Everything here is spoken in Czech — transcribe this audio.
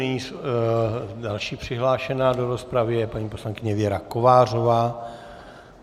Nyní další přihlášená do rozpravy je paní poslankyně Věra Kovářová.